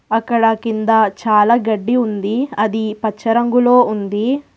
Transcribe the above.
అక్కడ కింద చాలా గడ్డి ఉంది అది పచ్చ రంగులో ఉంది.